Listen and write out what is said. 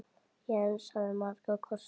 Jens hafði marga kosti.